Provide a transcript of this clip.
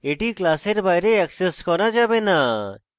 এটি class বাইরে access করা যাবে না